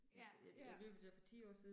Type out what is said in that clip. Ja, ja